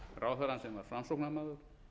ráðherrann sem var framsóknarmaður